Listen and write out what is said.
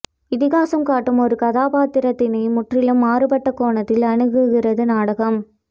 இதிகாசம் காட்டும் ஒரு கதாபாத்திரத்தினை முற்றிலும் மாறுபட்ட கோணத்தில் அணுகுகிறது நாடகம்